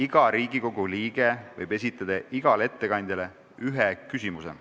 Iga Riigikogu liige võib esitada igale ettekandjale ühe küsimuse.